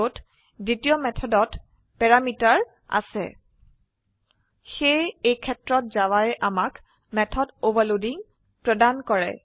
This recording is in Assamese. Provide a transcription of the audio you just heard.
যত দ্বিতীয় মেথডত প্যাৰামিটাৰ আছে সেয়ে এই ক্ষেত্ৰত জাভায়ে আমাক মেথড অভাৰলোডিং প্ৰদান কৰে